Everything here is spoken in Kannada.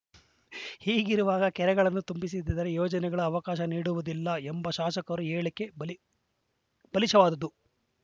ಹೀಗಿರುವಾಗ ಕೆರೆಗಳನ್ನು ತುಂಬಿಸದಿದ್ದರೆ ಯೋಜನೆಗಳ ಅವಕಾಶ ನೀಡುವುದಿಲ್ಲ ಎಂಬ ಶಾಸಕರ ಹೇಳಿಕೆ ಬಾಲಿ ಬಾಲಿಶವಾದುದು